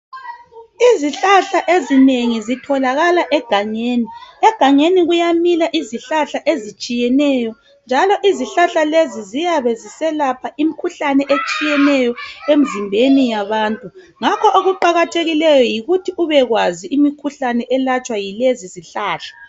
Izihlahla ezinengi zitholakala egangeni. Egangeni kuyamila izihlahla ezitshiyeneyo, njalo izihlahla lezi ziyabe ziselapha imkhuhlane etshiyeneyo emzimbeni yabantu. Ngakho okuqakathekileyo yikuthi ubekwazi imikhuhlane yelatshwa yilezi zihlahla.